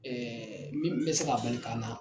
Ɛɛ min be se ka bali ka na